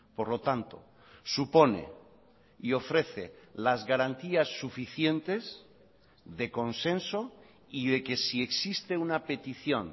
por lo tanto supone y ofrece las garantías suficientes de consenso y de que si existe una petición